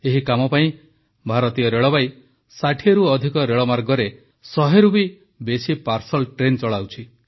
ଏହି କାମ ପାଇଁ ଭାରତୀୟ ରେଳବାଇ 60ରୁ ଅଧିକ ରେଳମାର୍ଗରେ 100ରୁ ବି ବେଶି ପାର୍ସଲ୍ ଟ୍ରେନ୍ ଚଳାଉଛି